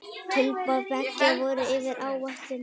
Tilboð beggja voru yfir áætlun.